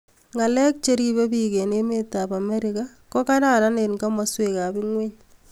Ngalek cheribe biik eng emetab Amerika kogararan eng komaswekab ingweny